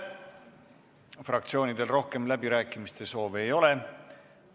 Fraktsioonidel rohkem läbirääkimiste soove ei ole.